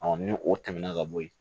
ni o tɛmɛna ka bɔ yen